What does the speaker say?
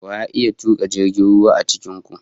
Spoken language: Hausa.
Wa ya iya tuka jirgin ruwa a cikin ku?